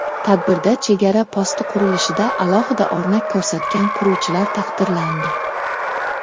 Tadbirda chegara posti qurilishida alohida o‘rnak ko‘rsatgan quruvchilar taqdirlandi.